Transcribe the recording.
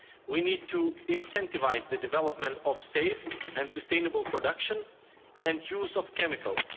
We need to incentivise the development of safe and sustainable production and use of chemicals.